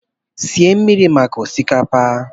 sie mmiri maka osikapa!